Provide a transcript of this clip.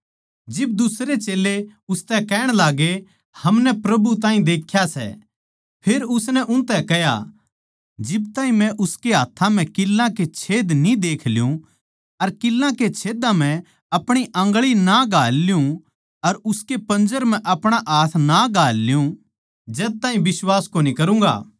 जिब दुसरे चेल्लें उसतै कहण लाग्गे हमनै प्रभु ताहीं देख्या सै फेर उसनै उनतै कह्या जिब ताहीं मै उसकै हाथ्थां म्ह किल्लां के छेद न्ही देख ल्युँ अर किल्लां के छेदों म्ह अपणी आंगळी नै घाल ल्युँ अर उसकै पंजर म्ह अपणा हाथ ना घाल ल्युँ जद ताहीं बिश्वास कोनी करूँगा